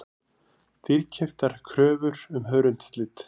Dýrkeyptar kröfur um hörundslit